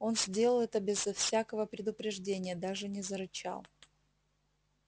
он сделал это безо всякого предупреждения даже не зарычал